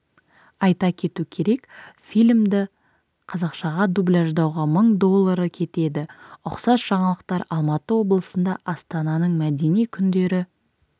айта кету керек фильмді қазақшаға дубляждауға мың доллары кетеді ұқсас жаңалықтар алматы облысында астананың мәдени күндері